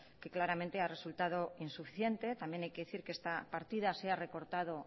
que claramente ha resultado insuficiente también hay que decir que esta partida se ha recortado